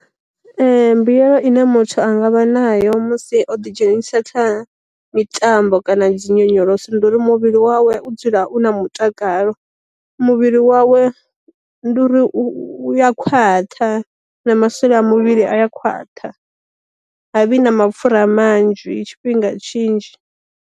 Mbuyelo ine muthu a ngavha nayo musi o ḓi dzhenisi kha mitambo kana dzi nyonyoloso ndi uri muvhili wawe u dzula u na mutakalo, muvhili wawe ndi uri u ya khwaṱha na masole a muvhili a ya khwaṱha, ha vhi na mapfura a manzhi tshifhinga tshinzhi.